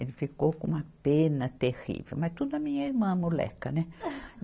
Ele ficou com uma pena terrível, mas tudo a minha irmã, a moleca, né?